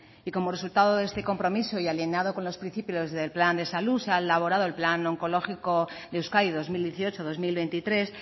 y como resultado de este compromiso y alienado con los principios del plan de salud se ha elaborado el plan oncológico de euskadi dos mil dieciocho dos mil veintitrés